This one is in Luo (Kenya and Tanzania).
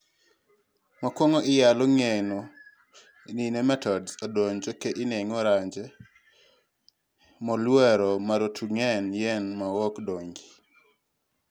makuongo iyalo ng'eyo ni nomatodes odonjo ka ineno range moluorore marotengeen yien maok dongi